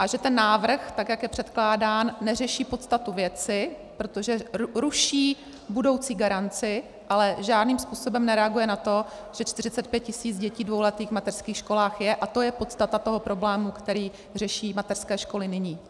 A že ten návrh, tak jak je předkládán, neřeší podstatu věci, protože ruší budoucí garanci, ale žádným způsobem nereaguje na to, že 45 tisíc dětí dvouletých v mateřských školách je, a to je podstata toho problému, který řeší mateřské školy nyní.